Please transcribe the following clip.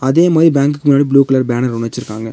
அதே மாரி பேங்க்கு முன்னாடி ப்ளூ கலர் பேனர் ஒன்னு வெச்சுருக்காங்க.